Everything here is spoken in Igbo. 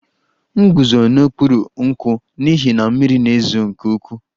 M guzo n'okpuru nkwụ n'ihi na mmiri na-ezo nke ukwuu